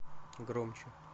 громче